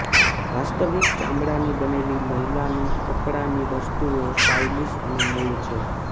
વાસ્તવિક ચામડાની બનેલી મહિલાની કપડાની વસ્તુઓ સ્ટાઇલીશ અને મૂળ છે